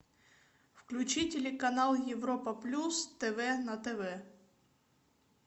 включи телеканал европа плюс тв на тв